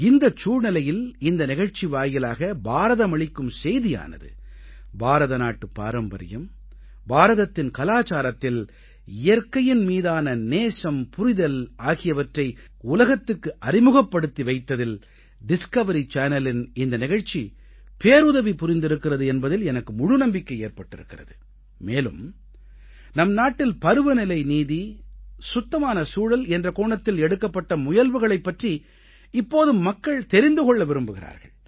இந்தச் சூழ்நிலையில் இந்த நிகழ்ச்சி வாயிலாக பாரதமளிக்கும் செய்தியானது பாரதநாட்டு பாரம்பரியம் பாரதத்தின் கலாச்சாரத்தில் இயற்கையின் மீதான நேசம்புரிதல் ஆகியவற்றை உலகத்துக்கு அறிமுகப்படுத்தி வைத்ததில் டிஸ்கவரி சேனலின் இந்த நிகழ்ச்சி பேருதவி புரிந்திருக்கிறது என்பதில் எனக்கு முழு நம்பிக்கை ஏற்பட்டிருக்கிறது மேலும் நம் நாட்டில் பருவநிலைநீதி சுத்தமான சூழல் என்ற கோணத்தில் எடுக்கப்பட்ட முயல்வுகளைப் பற்றி இப்போது மக்கள் தெரிந்து கொள்ள விரும்புகிறார்கள்